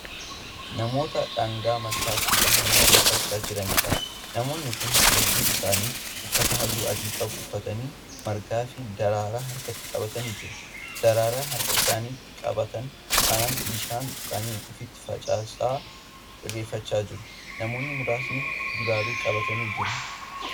Namoota daangaa malkaatti bahanii irreeffachaa Jiraniidha. namoonni Kuni hedduun isaanii uffata halluu adii qabu uffatanii margaafi daraaraa harkatti qabatanii jiru. daraaraa harka isaanitti qabatan kanaan bishaan tuqanii ofitti facaasaa irreeffachaa jiru. namoonni muraasni dibaabee qabatanii jiru